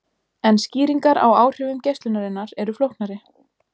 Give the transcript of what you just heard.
En skýringar á áhrifum geislunarinnar eru flóknari.